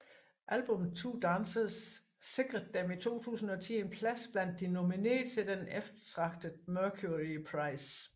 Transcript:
Albummet Two Dancers sikrede dem i 2010 en plads blandt de nominerede til den eftertragtede Mercury Prize